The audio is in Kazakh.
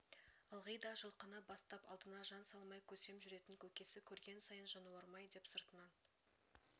ылғи да жылқыны бастап алдына жан салмай көсем жүретін көкесі көрген сайын жануарым-ай деп сыртынан